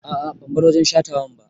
A'a ban bar wajen shatawan ba